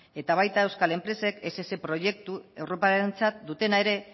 eta baita euskal enpresek ess proiektu europarrarentzat dutena ere